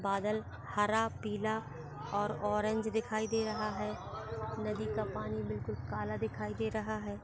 बादल हारा पीला और ऑरेंज दिखाई दे रहा है नदी का पनि बिलकुल काला दिखाई दे रहा है।